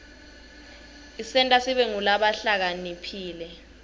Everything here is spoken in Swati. isenta sibe ngulabahlakaniphile